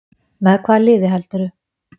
Með hvaða liði heldurðu?